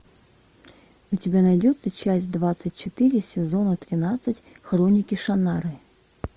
у тебя найдется часть двадцать четыре сезона двенадцать хроники шаннары